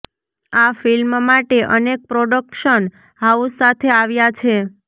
આ ફિલ્મ માટે અનેક પ્રોડક્શન હાઉસ સાથે આવ્યા છે